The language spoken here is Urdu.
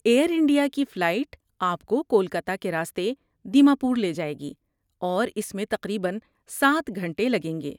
ایئرانڈیا کی فلائٹ آپ کو کولکاتہ کے راستے دیماپور لے جائے گی اور اس میں تقریبا سات گھنٹے لگیں گے